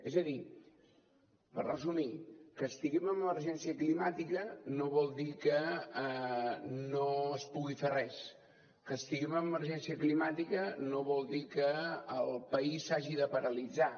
és a dir per resumir que estiguem en emergència climàtica no vol dir que no es pugui fer res que estiguem en emergència climàtica no vol dir que el país s’hagi de paralitzar